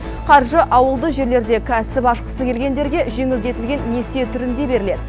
қаржы ауылды жерлерде кәсіп ашқысы келгендерге жеңілдетілген несие түрінде беріледі